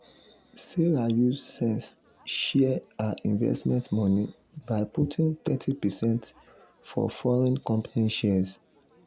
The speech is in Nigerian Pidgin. after um emily salary go up by 15 percent she decide to change how she dey share her money inside her budget.